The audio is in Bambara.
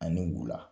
Ani wula